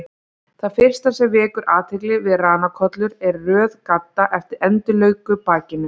Það fyrsta sem vekur athygli við ranakollur er röð gadda eftir endilöngu bakinu.